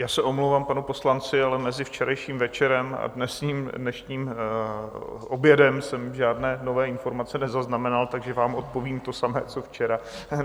Já se omlouvám panu poslanci, ale mezi včerejším večerem a dnešním obědem jsem žádné nové informace nezaznamenal, takže vám odpovím to samé co včera.